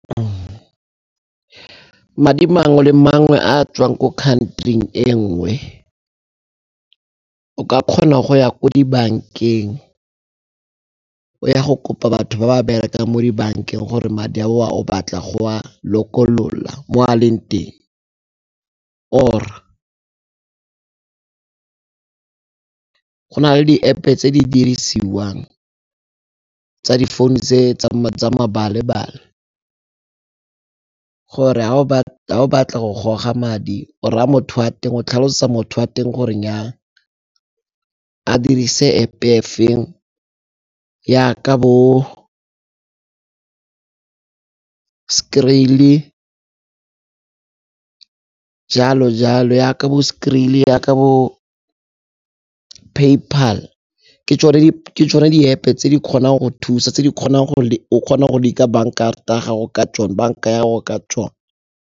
Madi mangwe le mangwe a a tswang ko country-ing e nngwe o ka kgona go ya ko dibankeng o ya go kopa batho ba berekang mo dibankeng gore madi ao o batla go a lokolola mo a leng teng, or go na le di-App-e tse di dirisiwang tsa di founu tse tsa gore ga o batla go goga madi o raya motho wa teng o tlhalosetsa motho a teng gore nnyaa a dirise App-e e feng yaka bo Skrill-e jalo jalo, yaka bo Skrill-e yaka bo PayPal. ke tsone di-App tse di kgonang go thusa, tse di kgonang go banka ya go ka tsone.